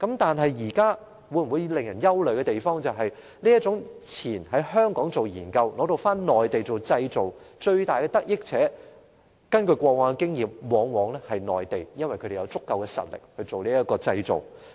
但是，令人憂慮的是，根據過往經驗，這種先在香港進行研究，然後在內地製造的做法，最大的得益者往往是內地，因為內地的製造業有足夠實力。